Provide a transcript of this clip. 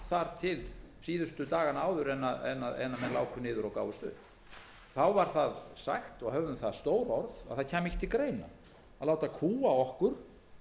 þar til síðustu dagana áður en menn láku niður og gáfust upp þá var sagt og höfð um það stór orð að ekki kæmi til greina að láta kúga okkur